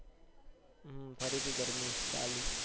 હમ ફરી થી ગરમી ચાલુ